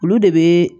Olu de bɛ